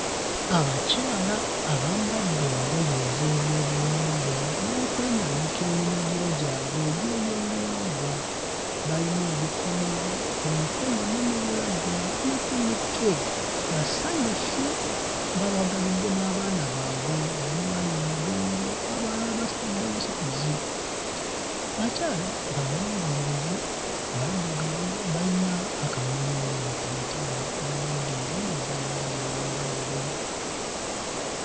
Abakyala abambadde engoye ez'ebyobuwangwa n'okwenaanika eminagiro gyabwe egy'ebyobuwangwa, bayina ebikomo ku mikono ne mu bulago ne ku mitwe. Basanyufu bawagalidde n'abaana baabwe abamu bali mmigongo abalala babasitudde busituzi. Bakyala bawanvuyirivu, baddugavu bayina akamwenyumwenyu ku matama bambadde engoye eza langi ey'enjawulo.